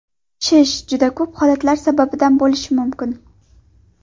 Shish Shish juda ko‘p holatlar sababidan bo‘lishi mumkin.